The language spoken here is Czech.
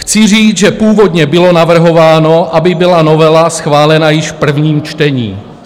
Chci říct, že původně bylo navrhováno, aby byla novela schválena již v prvním čtení.